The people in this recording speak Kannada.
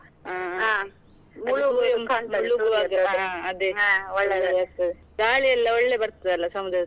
ಆಗ್ತದೆ. ಗಾಳಿಯೆಲ್ಲಾ ಒಳ್ಳೆ ಬರ್ತದಲ್ಲ ಸಮುದ್ರ ತೀರದಲ್ಲಿ.